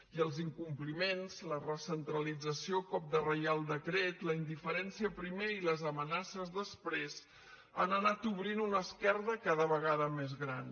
i els incompliments la recentralització a cop de reial decret la indiferència primer i les amenaces després han anat obrint una esquerda cada vegada més gran